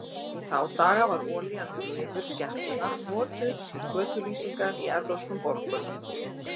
Í þá daga var olían úr lifur skepnunnar notuð til götulýsingar í evrópskum borgum.